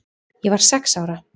Ég var sex ára.